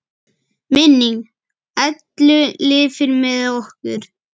Minning Ellu lifir með okkur.